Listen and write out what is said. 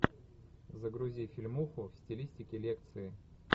загрузи фильмуху в стилистике лекции